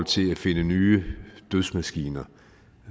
til at finde nye dødsmaskiner